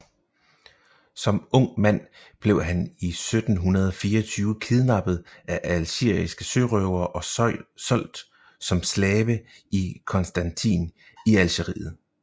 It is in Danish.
Som ung mand blev han i 1724 kidnappet af algeriske sørøvere og solgt som slave i Constantine i Algeriet